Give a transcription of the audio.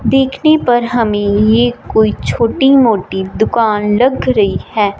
देखने पर हमें ये कोई छोटी मोटी दुकान लग रही है।